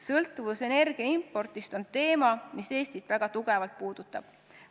Sõltuvus energia impordist on teema, mis Eestit väga tugevalt puudutab.